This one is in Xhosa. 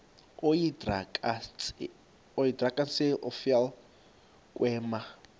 oyidrakenstein uvele kwema